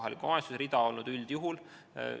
Eks see eeskätt ole üldjuhul olnud kohaliku omavalitsuse rida.